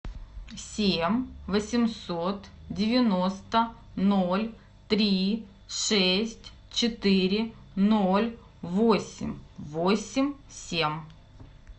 семь восемьсот девяносто ноль три шесть четыре ноль восемь восемь семь